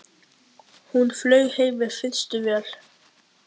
Hún flaug heim með fyrstu vél.